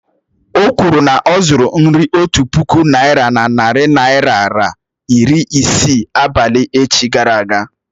Okwuru na ọ̀ zuru nri otu puku naị́ra na narị naịra ra iri isii abalị echi gara aga